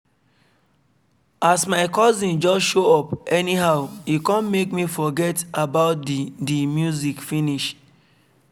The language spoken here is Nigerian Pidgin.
as my cousin just show up anyhow e kon make me forget about the the music finish.